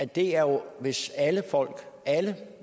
det er jo hvis alle alle